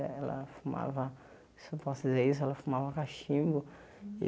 Ela fumava, se eu posso dizer isso, ela fumava cachimbo.